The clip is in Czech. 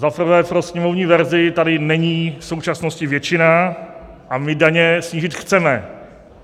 Za prvé, pro sněmovní verzi tady není v současnosti většina a my daně snížit chceme.